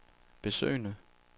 besøgende